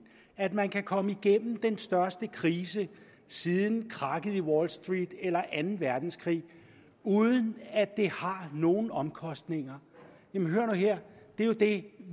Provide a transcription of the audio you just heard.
at man kan komme igennem den største krise siden krakket i wall street eller anden verdenskrig uden at det har nogen omkostninger jamen hør nu her det er jo det